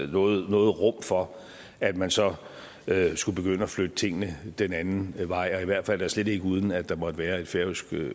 noget rum for at man så skulle begynde at flytte tingene den anden vej og i hvert fald da slet ikke uden at der måtte være et færøsk